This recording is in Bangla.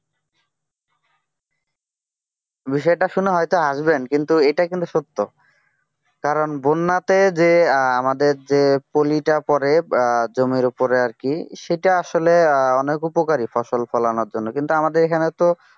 বিষয়টা শুনে হয়তো হাসবেন কিন্তু এটা কিন্তু সত্য কারণ বন্যাতে যে আমাদের যে পলিটা পড়ে জমির উপরে আর কি সেটা আসলে অনেক উপকারী ফসল ফলানোর জন্য কিন্তু আমাদের এখানে তো